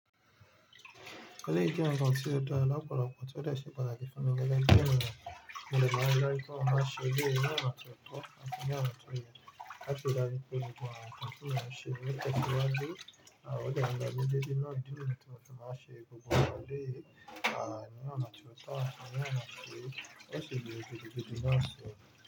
O se pataki funmi gege bi eniyan, mo de maa ri daju pe mo se eleyi ni ona tio to ati ni ona ti ye lati ri daju pe gbogbo awon nkam ti mo n se lohun lo te siwaju o de n lo deede.